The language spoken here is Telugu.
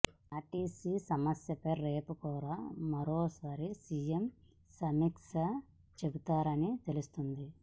ఆర్టీసీ సమస్యపై రేపు కూడా మరోసారి సీఎం సమీక్ష చేపడతారని తెలుస్తోంది